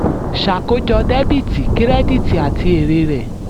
ṣàkójọ dẹ́bìtì kírẹ́díìtì àti èrè rẹ̀.